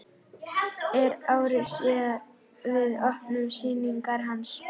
Er ári síðar við opnun sýningar hans.